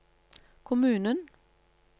kommunen